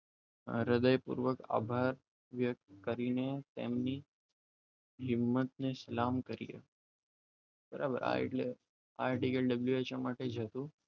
હૃદય પૂર્વક આભાર વ્યક્ત કરીને તેમની હિંમત ને સલામ કરીએ બરાબર આ એટલે આ article WHO માટે હતો